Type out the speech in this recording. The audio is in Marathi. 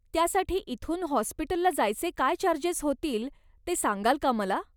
त्यासाठी इथून हॉस्पिटलला जायचे काय चार्जेस होतील ते सांगाल का मला.